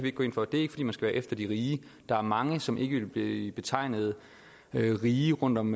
ikke gå ind for det er ikke fordi man skal være efter de rige der er mange som ikke ville blive betegnet som rige rundt om